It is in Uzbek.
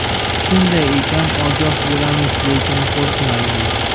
Shunday ekan, ogoh bo‘lamiz, lekin qo‘rqmaymiz.